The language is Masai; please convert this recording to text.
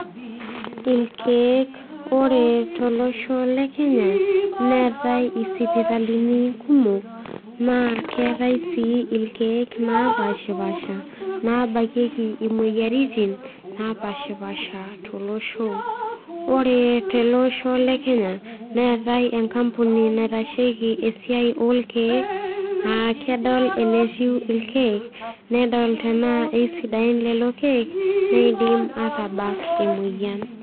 Irkiek ore tolosho lekenya neatae isipitalini kumok na keetai si irkiek lopashipasha nabakieki omoyiaritin napaasha tolosho ore teleosho lekenya neate enkampuni naitashieki irkiek lekenye aa kedol enetiu irkiek nedol ana kesidain lolo kiek nidim atabak emoyian.